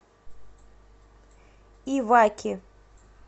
иваки